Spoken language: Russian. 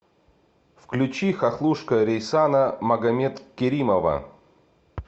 включи хохлушка рейсана магомедкеримова